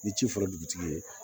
Ni ci fɔra dugutigi ye